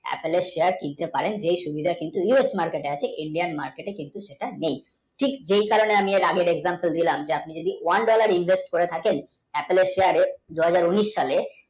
এক লোক Apple এর share কিনতে পারে যে USmarket এ আছে Indian market কিন্তু সেটা নেই ঠিক এই কারণে আমি আগের example দিলাম যদি আপনি one, dollar, reserve করে থাকেন দুই হাজার উনিশ সালে